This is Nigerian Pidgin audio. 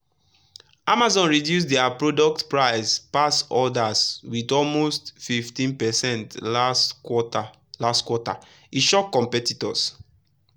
amazon reduce their product price pass others with almost 15 percent last quarter last quarter — e shock competitors.